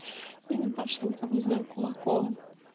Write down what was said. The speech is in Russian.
и ебашил там не знаю кулаком